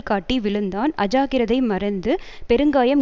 காட்டி விழுந்தான் அஜாக்கிரதை மறைந்து பெருங்காயம்